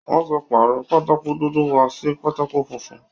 Wọ́n ti pàrọ̀ pátákó dúdú wa sí pátákó funfun